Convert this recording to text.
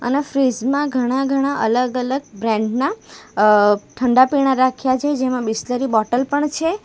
આ ફ્રીજ માં ઘણા ઘણા અલગ અલગ બ્રાન્ડ ના અહ ઠંડા પીણા રાખ્યા છે જેમાં બીસલરી બોટલ પણ છે.